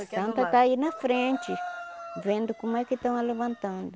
Santa está aí na frente, vendo como é que estão a levantando.